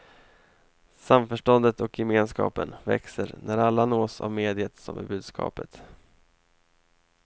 Samförståndet och gemenskapen växer när alla nås av mediet som är budskapet.